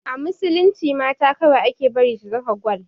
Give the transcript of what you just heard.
A musulunci mata kawai ake bari su saka gwal